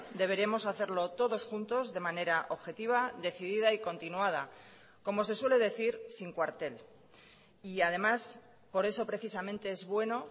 deberemos hacerlo todos juntos de manera objetiva decidida y continuada como se suele decir sin cuartel y además por eso precisamente es bueno